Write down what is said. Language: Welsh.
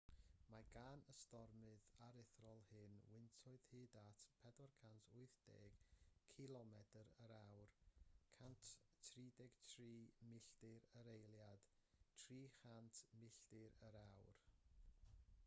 mae gan y stormydd aruthrol hyn wyntoedd hyd at 480 cilomedr/awr 133 milltir yr eiliad; 300 milltir yr awr